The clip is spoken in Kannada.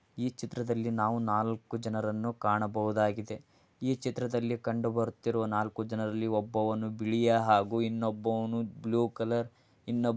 ಈ ಚಿತ್ರದಲ್ಲಿ ನಾವು ನಾಲ್ಕು ಜನರನ್ನು ಕಾಣಬಹುದಾಗಿದೆ .ಈ ಚಿತ್ರದಲ್ಲಿ ಕಂಡು ಬರುವವರಲ್ಲಿ ಒಬ್ಬನು ಬಿಳಿ ಹಾಗೂ ಇನ್ನೊಬ್ಬೋನು ಬ್ಲೂ --